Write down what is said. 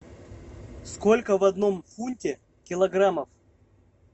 сколько в одном фунте килограммов